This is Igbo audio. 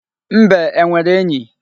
Mbe e nwere enyi?